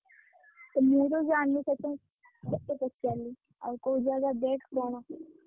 ମୁଁ ତ ଜାଣିନି ସେଥିପାଇଁ ତତେ ପଚାରିଲି। ଆଉ କୋଉ ଜାଗା ଦେଖେ କଣ?